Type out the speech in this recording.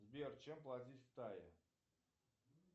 сбер чем платить в тае